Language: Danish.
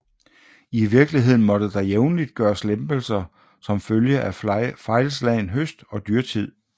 I virkeligheden måtte der jævnligt gøres lempelser som følge af fejlslagen høst og dyrtid